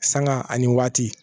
Sanga ani waati